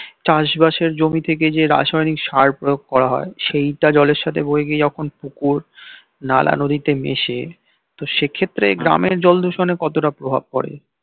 চাষ বাসের জমি থেকে যে রাসায়নিক সার প্রয়োগ করা হয় সেই টা জলের সাথে বয়ে গিয়ে যখন পুকুর নালা নদীতে মেশে সে ক্ষেত্রে গ্রামের জল দূষণ এ কতটা প্রভাব পড়ে